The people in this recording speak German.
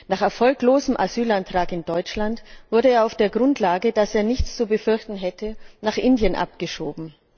Nach erfolglosem Asylantrag in Deutschland wurde er auf der Grundlage, dass er nichts zu befürchten hätte, nach Indien abgeschoben.